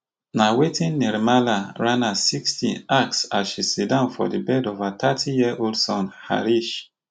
na wetin Nirmala Rana sixty ask as she siddon by di bed of her thirty year old son Harish